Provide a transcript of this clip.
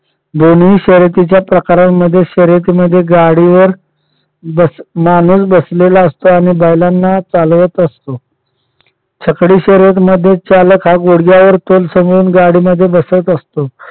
दोन्ही शर्यतीच्या प्रकारांमध्ये शर्यतीमध्ये गाडीवर माणूस बसलेला असतो आणि बैलांना चालवत असतो. छकडी शर्यत मध्ये चालक हा गुडघ्यावर तोल सांभाळून गाडीमध्ये बसत असतो.